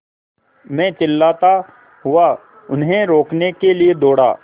मैं चिल्लाता हुआ उन्हें रोकने के लिए दौड़ा